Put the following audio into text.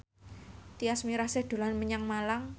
Tyas Mirasih dolan menyang Malang